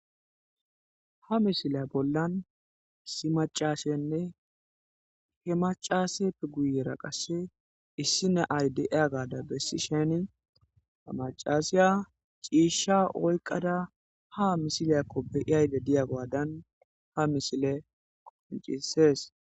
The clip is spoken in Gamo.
Ha misile bollan si macashenne he macaseppe guyera qasse issine ayde7ia gaada bessi sheni hamacasiya ciishsha oykqada ha misiliyakko beiyayde diya gwaadan ha misile koncisees.